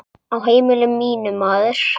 Á heimili mínu, maður.